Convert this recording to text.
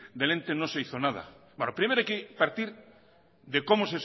del ente no se hizo nada primero hay que partir de cómo